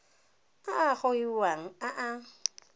a a gogiwang a a